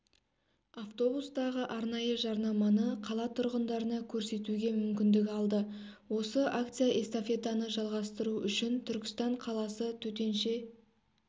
автобустағы арнайы жарнаманы қала тұрғындарына көрсетуге мүмкіндік алды осы акция-эстафетаны жалғастыру үшін түркістан қаласы төтенше